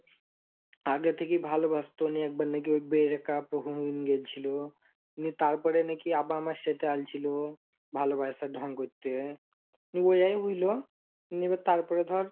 আগে থেকে ভালোবাসতো নিয়ে একবার নাকি break up হংগেলছিল, তারপরে নাকি আবার আমাকে সাথে আলছিল ভালোবাসার ঢং করতে, মানে এবার তারপরে ধর,